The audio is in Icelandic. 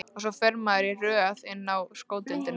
Og svo fer maður í röð inn á sko deildina.